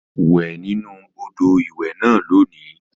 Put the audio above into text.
Wẹ̀ nínú odò ìwẹ̀ náà lónìí